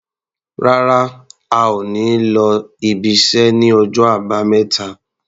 Rárá, a ò ní lọ ibiṣẹ́ ní ọjọ́ Àbámẹ́ta.